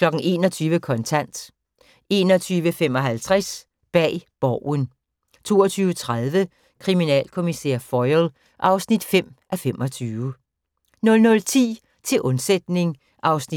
21:00: Kontant 21:55: Bag Borgen 22:30: Kriminalkommissær Foyle (5:25) 00:10: Til undsætning (47:48) 00:55: